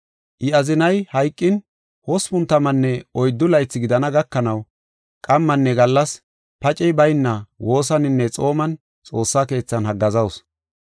I azinay hayqin hospun tammanne oyddu laythi gidana gakanaw qammanne gallas pacey bayna woosaninne xooman xoossa keethan haggaazasu.